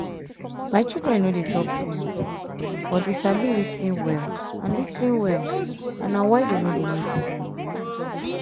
my children no dey talk too much but dey sabi lis ten well and lis ten well and na why dey no dey make mistake